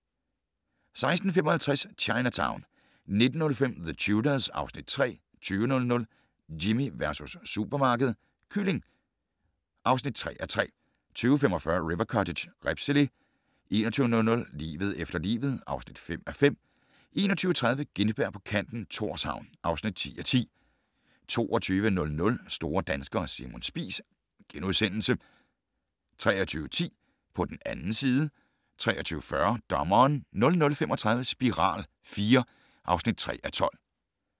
16:55: Chinatown 19:05: The Tudors (Afs. 3) 20:00: Jimmy versus supermarkedet - kylling (3:3) 20:45: River Cottage - ribsgele 21:00: Livet efter livet (5:5) 21:30: Gintberg på kanten - Thorshavn (10:10) 22:00: Store danskere - Simon Spies * 23:10: På den 2. side 23:40: Dommeren 00:35: Spiral IV (3:12)